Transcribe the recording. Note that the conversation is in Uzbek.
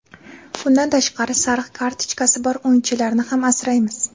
Bundan tashqari sariq kartochkasi bor o‘yinchilarni ham asraymiz.